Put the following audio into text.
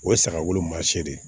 O ye sagaw man se